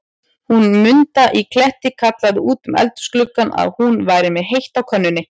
Hún Munda í Kletti kallaði út um eldhúsgluggann, að hún væri með heitt á könnunni.